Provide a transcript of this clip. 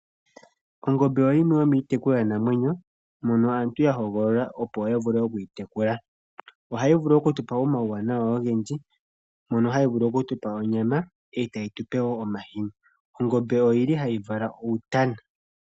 Ongombe oyo yimwe yomiitekulwa namwenyo, mono aantu ya hogolola opo ya vule oku yi tekula. Ohayi vulu okutu pa omauwanawa ogendji, mono hayi vulu okutu pa onyama, e tayi tu pe wo omahini. Ongombe ohayi vala uutana.